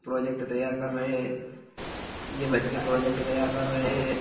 Project तैयार कर रहे है ये बच्चे प्रोजेक्ट तैयार कर रहे है।